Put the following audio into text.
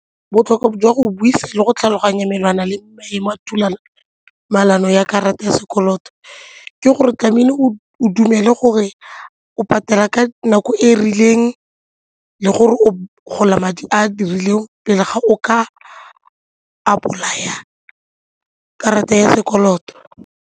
Botlhokwa jwa go buisa le go tlhaloganya melawana le maemo a ya karata ya sekoloto ke gore o tlamehile o dumele gore o patela ka nako e rileng le gore o gola madi a dirileng pele ga o ka apply-a karata ya sekoloto.